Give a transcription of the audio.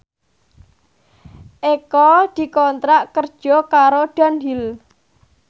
Eko dikontrak kerja karo Dunhill